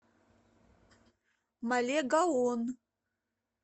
малегаон